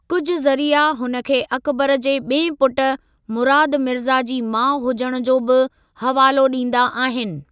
कुझ ज़रिया हुन खे अकबर जे ॿिएं पुट, मुराद मिर्ज़ा जी माउ हुजण जो बि हवालो ॾींदा आहिनि।